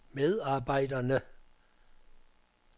medarbejderne